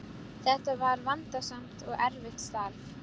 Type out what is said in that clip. Þetta var vandasamt og erfitt starf.